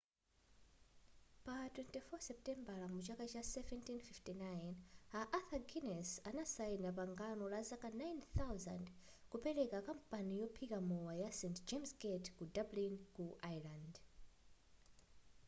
pa 24 seputembala mchaka cha 1759 a arthur guinnes adasaina pangano la zaka 9,000 kupeleka kampani yophika mowa ya st james gate ku dublin ku ireland